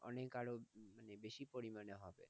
অনেক আরো বেশি পরিমানে হবে।